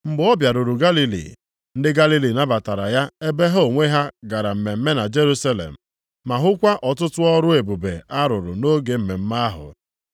Mgbe ọ bịaruru Galili, ndị Galili nabatara ya ebe ha onwe ha gara mmemme na Jerusalem, ma hụkwa ọtụtụ ọrụ ebube ọ rụrụ nʼoge mmemme ahụ.